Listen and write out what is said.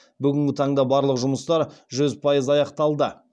бүгінгі таңда барлық жұмыстар жүз пайыз аяқталды